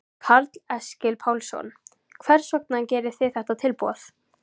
Karl Eskil Pálsson: Hvers vegna gerir þið þetta tilboð?